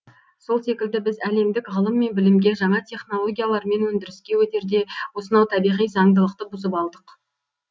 сол секілді біз әлемдік ғылым мен білімге жаңа технологиялар мен өндіріске өтерде осынау табиғи заңдылықты бұзып алдық